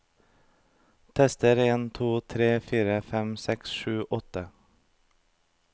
Tester en to tre fire fem seks sju åtte